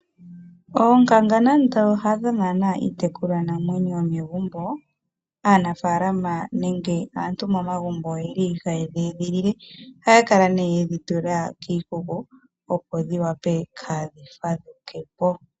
Oonkanga nande hadho naana iitekulwanamwenyo yomegumbo aanafaalama nenge aantu momagumbo oyeli ha yedhi edhilile . ohaya kala nee yedhi tula kiikuku opo dhiwape kadhi fadhukepo